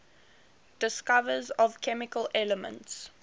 discoverers of chemical elements